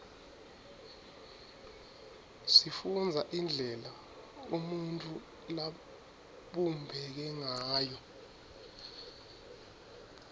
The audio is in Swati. sifundza indlela umuntfu labumbeke ngayo